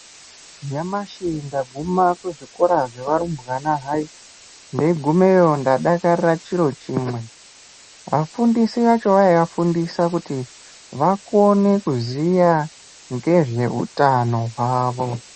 Nyamashi ndaguma kuzvikora zveva rumbwana hayi ndeyugumeyo ndadakarira chiro chimwe vafundisi vacho vayivafundisa kuti vakone kuziva nezveutano hwavo.